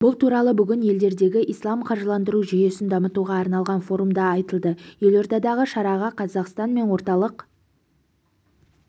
бұл туралы бүгін елдеріндегі ислам қаржыландыру жүйесін дамытуға арналған форумда айтылды елордадағы шараға қазақстан мен орталық